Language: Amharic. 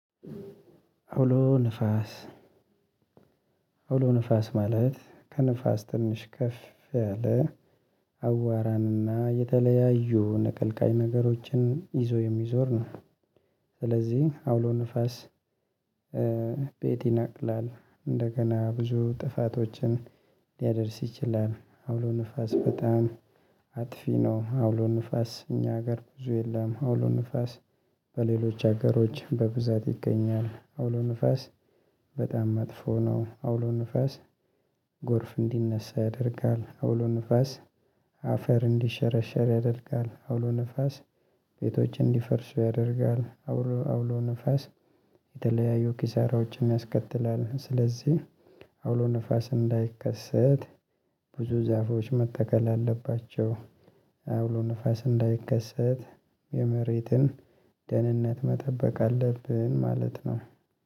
አውሎ ንፋስ አውሎ ንፋስ ማለት ከንፋስ ትንሽ ከፍ ያለ አዋራንና የተለያዩ ንቀልቃይ ነገሮችን ይዞ የሚዞር ነው። ስለዚህ አውሎ ንፋስ ቤት ይናቅላል እንደገና ብዙ ጥፋቶችን ሊያደርስ ይችላል። አውሎ ንፋስ በጣም አጥፊ ነው። አውሎ ንፋስ እኛ ሀገር ብዙ የለም። አውሎ ንፋስ በሌሎች ሀገሮች በብዛት ይገኛል። አውሎ ንፋስ በጣም መጥፎ ነው። አውሎ ንፋስ ጎርፍ እንዲነሳ ያደርጋል። አውሎ ንፋስ አፈር እንዲሸረሸር ያደርጋል። አውሎ ንፋስ ቤቶች እንዲፈርሱ ያደርጋል። አውሎ ንፋስ የተለያዩ ኪሳራዎችን ያስከትላል። ስለዚህ አውሎ ንፋስ እንዳይከሰት ብዙ ዛፎች መተከል አለባቸው። አውሎ ንፋስ እንዳይከሰት የመሬትን ደህንነት መጠበቅ አለብን ማለት ነው።